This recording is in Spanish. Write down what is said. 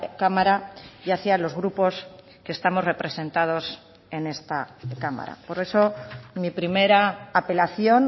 cámara y hacía los grupos que estamos representados en esta cámara por eso mi primera apelación